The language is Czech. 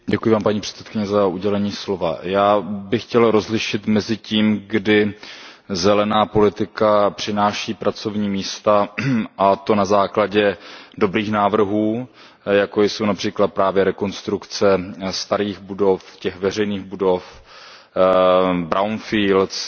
Paní předsedající, já bych chtěl rozlišit mezi tím, kdy zelená politika přináší pracovní místa, a to na základě dobrých návrhů, jako jsou například právě rekonstrukce starých budov, veřejných budov, brownfields atd.,